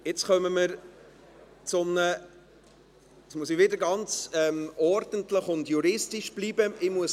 Jetzt kommen wir zu etwas, bei dem ich nun wieder ganz ordentlich und juristisch bleiben muss.